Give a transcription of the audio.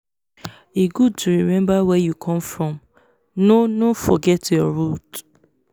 e good to remember where you come from no no forget your root